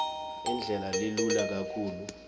indlela lelula kakhulu